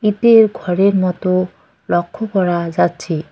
ইটের ঘরের মতো লক্ষ্য করা যাচ্ছে।